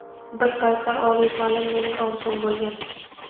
Bir paytlar oliy ta’lim mening orzuim bo‘lgan.